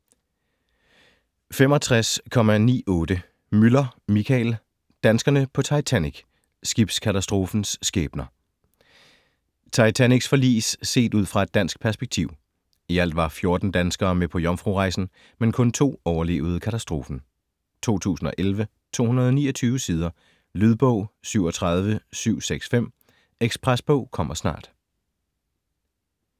65.98 Müller, Michael: Danskerne på Titanic: skibskatastrofens skæbner Titanics forlis set ud fra et dansk perspektiv. I alt var 14 danskere med på jomfrurejsen, men kun 2 overlevede katastrofen. 2011, 229 sider. Lydbog 37765 Ekspresbog - kommer snart